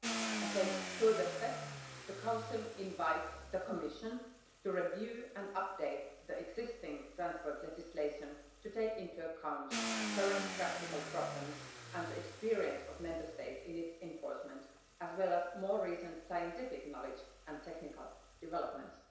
As a further step, the Council invites the Commission to review and update the existing transport legislation to take into account current practical problems and experience of Member States in its enforcement, as well as more recent scientific knowledge and technical developments.